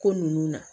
Ko nunnu na